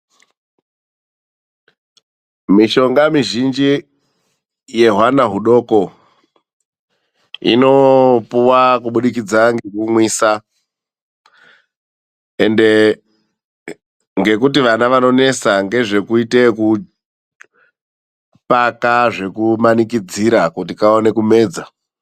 Mishonga mizhinji yehwana hudoko inopuwa kubudikidza ngekumwisa. Ende ngekuti vana vanonesa ngezvekuita zvekupaka zvekumanikidzra kuti kaone kumwedza.